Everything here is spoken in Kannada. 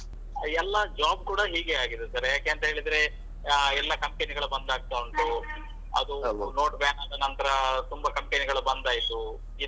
ಎಲ್ಲ job ಕೂಡ ಹೀಗೆ ಆಗಿರುತ್ತೆ sir . ಯಾಕೆ ಅಂತ ಹೇಳಿದ್ರೆ ಆಹ್ ಎಲ್ಲ company ಗಳು ಬಂದಾಗ್ತಾ ಉಂಟು. ಅದು note ban ಆದ ನಂತ್ರ ತುಂಬಾ company ಗಳು ಬಂದಾಯ್ತು, ಇದ್ದ.